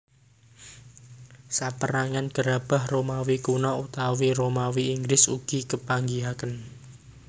Sapérangan gerabah Romawi Kuno utawi Romawi Inggris ugi kepanggihaken